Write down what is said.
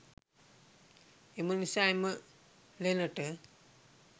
එම නිසා එම ලෙනට